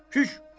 Çüş, çüş.